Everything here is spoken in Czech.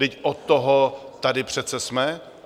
Vždyť od toho tady přece jsme.